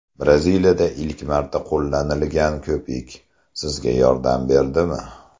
Braziliyada ilk marta qo‘llanilgan ko‘pik sizga yordam berdimi?